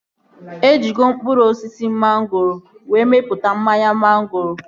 E jigo mkpụrụ osisi mangoro were mepụta mmanya mangoro